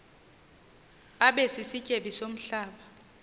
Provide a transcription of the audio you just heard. abe sisityebi somhlaba